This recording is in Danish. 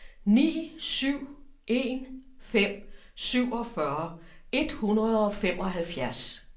ni syv en fem syvogfyrre et hundrede og femoghalvfjerds